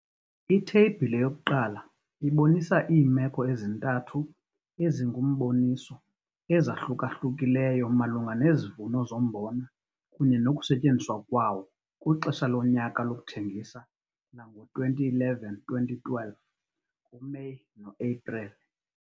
Itheyibhile 1 ibonisa iimeko ezintathu ezingumboniso ezahlukahlukileyo malunga nezivuno zombona kunye nokusetyenziswa kwawo kwixesha lonyaka lokuthengisa lango-2011 - 2012 kuMeyi noEpreli.